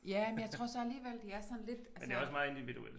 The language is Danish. Ja men jeg tror så alligevel det er sådan lidt altså